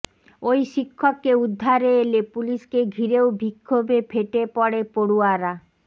ওই শিক্ষককে উদ্ধারে এলে পুলিশকে ঘিরেও বিক্ষোভে ফেটে পড়ে পড়ুয়ারা